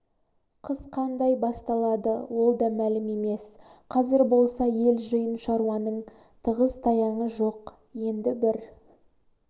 қыс қандай басталады ол да мөлім емес қазір болса ел жиын шаруаның тығыз-таяңы жоқ енді бір